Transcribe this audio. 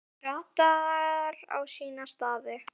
Það ratar á sína staði.